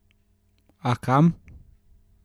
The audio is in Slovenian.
A, kam?